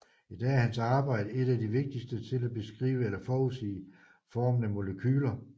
I dag er hans arbejde et af de vigtigste til at beskrive eller forudsige formen af molekyler